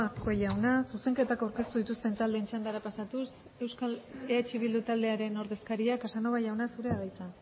azkue jauna zuzenketari aurkeztu dituzten taldeen txandara pasatuz eh bildu taldearen ordezkaria casanova jauna zurea da hitza